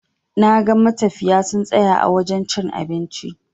Naga matafiya sun tsaya a wajen cin abinci.